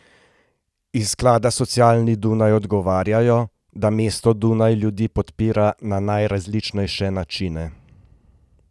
Iz Sklada socialni Dunaj odgovarjajo, da mesto Dunaj ljudi podpira na najrazličnejše načine.